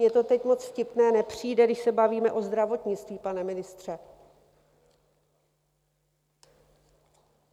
Mně to teď moc vtipné nepřijde, když se bavíme o zdravotnictví, pane ministře.